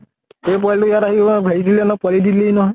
এই পোৱালী টো ইয়াত আহি হেৰি দিলে নহয়, পোৱালী দি দিলে হি নহয়।